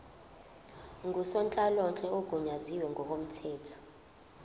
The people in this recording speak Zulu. ngusonhlalonhle ogunyaziwe ngokomthetho